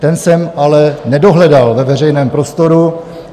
Ten jsem ale nedohledal ve veřejném prostoru.